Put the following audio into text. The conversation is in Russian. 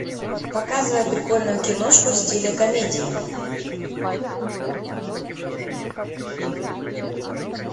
показывай прикольную киношку в стиле комедии